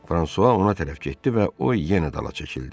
Fransua ona tərəf getdi və o yenə dala çəkildi.